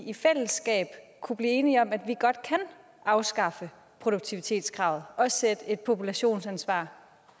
i fællesskab kunne blive enige om at vi godt kan afskaffe produktivitetskravet og sætte et populationsansvar